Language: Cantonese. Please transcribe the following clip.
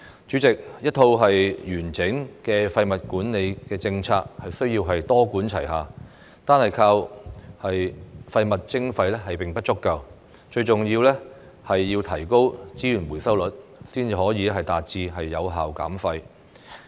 主席，一套完整的廢物管理政策需要多管齊下，單靠廢物徵費並不足夠，最重要的是提高資源回收率，才可以達致有效減廢。